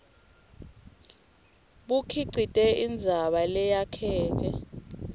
bukhicite indzaba leyakheke